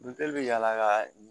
Buteli bɛ yala ka